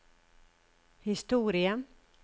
historie